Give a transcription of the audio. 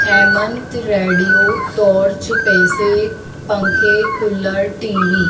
Hemant radio torch पैसे पंखे cooler TV.